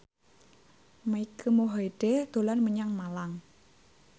Mike Mohede dolan menyang Malang